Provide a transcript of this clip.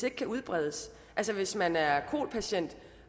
ikke kan udbredes altså hvis man er kol patient